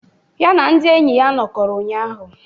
Ya na ndị enyi ya nọkọrọ ụnyahụ.